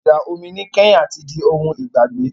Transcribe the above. Ìjà omi ní Kenya ti di ohun ìgbàgbé.